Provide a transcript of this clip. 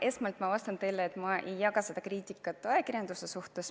Esmalt ma vastan teile, et ma ei jaga seda kriitikat ajakirjanduse suhtes.